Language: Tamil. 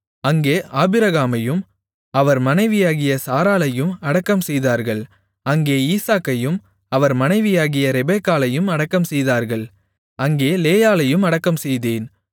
அங்கே ஆபிரகாமையும் அவர் மனைவியாகிய சாராளையும் அடக்கம்செய்தார்கள் அங்கே ஈசாக்கையும் அவர் மனைவியாகிய ரெபெக்காளையும் அடக்கம்செய்தார்கள் அங்கே லேயாளையும் அடக்கம்செய்தேன்